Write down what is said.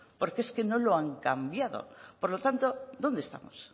porque es que no lo han cambiado por lo tanto dónde estamos